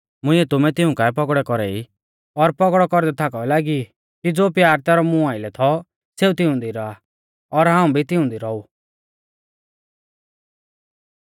मुंइऐ तुमै तिऊं काऐ पौगड़ौ कौरै ई और पौगड़ौ कौरदै थाकाऊ लागी की ज़ो प्यार तैरौ मुं आइलै थौ सेऊ तिऊंदी रौआ और हाऊं भी तिऊंदी रौऊ